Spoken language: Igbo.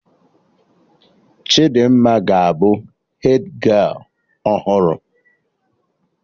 Chidimma ga abụ hedgialụ ọhụrụ